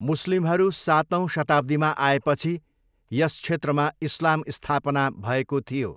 मुस्लिमहरू सातौँ शताब्दीमा आएपछि यस क्षेत्रमा इस्लाम स्थापना भएको थियो।